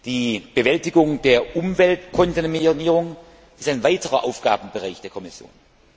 Die Bewältigung der Umweltkontaminierung ist ein weiterer Aufgabenbereich der Kommission.